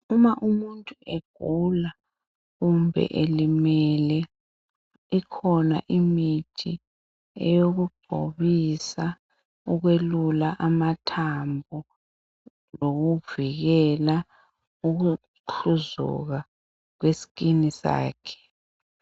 uma umuntu egula kumbe elimele ikhona imithi eyokugcobisa ukwelula amathambo lokuvikela ukuhluzuka kweskin sakhe